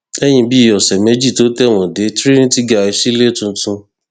lẹyìn bíi ọsẹ méjì tó tẹwọn dé trinity guy sílẹ tuntun